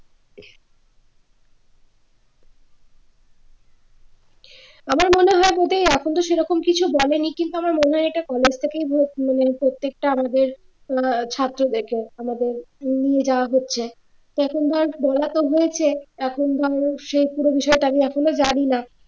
আমার মনে হয় যদি এখনতো সেরকম কিছু বলেনি কিন্তু আমার মনে হয় এটা college থেকে মানে প্রত্যেকটা আমাদের ছাত্র দেখবে আমাদের মনে যা হচ্ছে তো এখন ধর বলতো হয়েছে এখন ধর সে পুরো বিষয়টা আমি এখনো জানি না